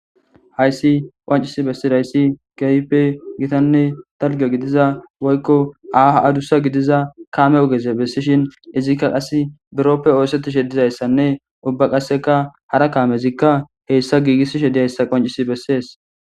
Hayssi qonccisi besizayisi kehippe gittane dalgga giddiza woykko aaho addusa gidiza kamme oggeza besishshine izikka qase borroppe osettizane dizayissnne ubba qasekka hara kammezika hessa gigisishe dizayisa qonccisi besses.